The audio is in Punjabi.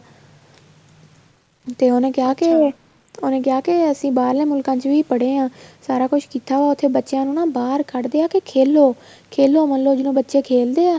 ਤੇ ਉਹਨੇ ਕਿਹਾ ਕੇ ਉਹਨਾ ਕਿਹਾ ਕੇ ਅਸੀਂ ਬਾਹਰਲੇ ਮੁਲਕਾਂ ਵਿੱਚ ਵੀ ਪੜੇ ਆ ਸਾਰਾ ਕੁੱਛ ਕੀਤਾ ਵਾ ਉੱਥੇ ਬੱਚਿਆ ਨੂੰ ਬਹਾਰ ਕੱਢਦਿਆ ਏ ਕੀ ਖੇਲੋ ਖੇਲੋ ਮੰਨਲੋ ਜਿਵੇਂ ਬੱਚੇ ਖੇਲਦੇ ਏ